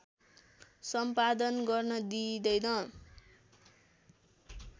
सम्पादन गर्न दिइँदैन